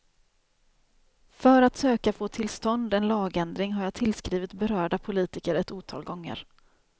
För att söka få till stånd en lagändring har jag tillskrivit berörda politiker ett otal gånger.